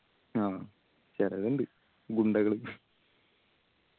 ആ ചെലത്തിണ്ട് ഗുണ്ടകള്